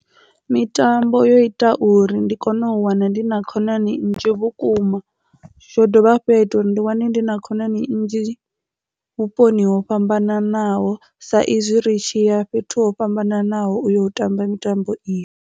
Mitambo yo ita uri ndi kone u wana ndi na khonani nnzhi vhukuma zwo dovha hafhu ya ita uri ndi wane ndi na khonani nnzhi vhuponi ho fhambananaho sa izwi ri tshi ya fhethu ho fhambananaho uyo u tamba mitambo iyo.